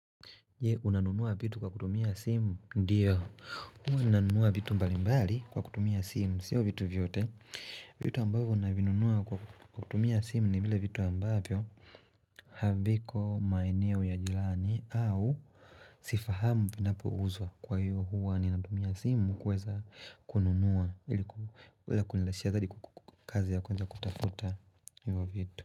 Je, unanunua vitu kwa kutumia simu, ndiyo hua nanunua vitu mbali mbali kwa kutumia simu, siyo vitu vyote vitu ambavyo unavinunua kwa kutumia simu ni vile vitu ambavyo Haviko maeneo ya jilani au sifahamu vinapo uzwa kwa hiyo hua aninatumia simu kuweza kununua kuweza kunilashia dhali kukazi ya kwenda kutakuta hivyo vitu.